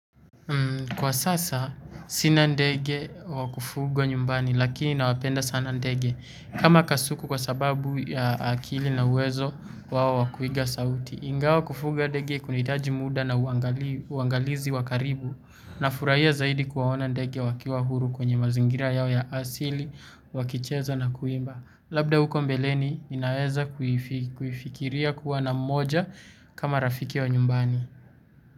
Kwa sasa sina ndege wa kufugwa nyumbani lakini nawapenda sana ndege kama kasuku kwa sababu ya akili na uwezo wao wa kuiga sauti. Ingawa kufuga ndege kunaitaji muda na uangalizi wa karibu nafuraia zaidi kuwaona ndege wakiwa huru kwenye mazingira yao ya asili wakicheza na kuimba. Labda huko mbeleni ninaeza kuifikiria kuwa na mmoja kama rafiki wa nyumbani.